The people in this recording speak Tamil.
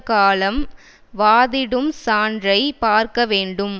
காலம் வாதிடும் சான்றை பார்க்க வேண்டும்